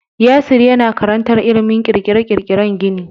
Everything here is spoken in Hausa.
Yasir yana karantar ilimin ƙirƙire-ƙirƙiren gini.